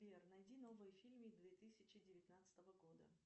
сбер найди новые фильмы две тысячи девятнадцатого года